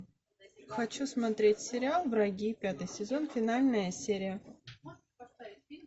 хочу смотреть сериал враги пятый сезон финальная серия